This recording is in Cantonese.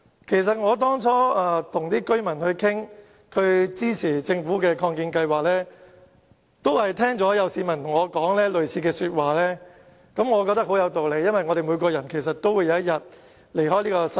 其實，我當初與居民商討支持政府的擴建龕場計劃時，亦聽到市民對我說過類似的話，我覺得很有道理，因為所有人終有一天會離開這個世界。